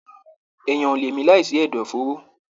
Èèyàn o le mi láì sí ẹdọ fòóro.